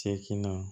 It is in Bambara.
Seginna